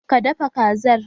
Ka dafa Kazar?